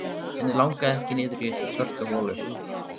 Hana langaði ekki niður í þessa svörtu holu.